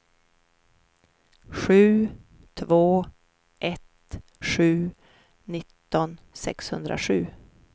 sju två ett sju nitton sexhundrasju